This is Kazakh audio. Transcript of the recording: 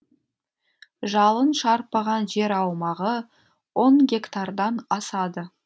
жалын шарпыған жер аумағы он гектардан асады